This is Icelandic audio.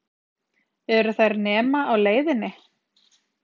Eru þær nema á leiðinni?